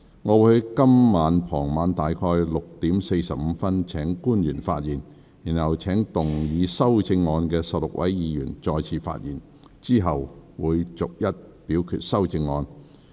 我會於今天傍晚約6時45分請官員發言，然後請動議修正案的16位議員再次發言，之後逐一表決修正案。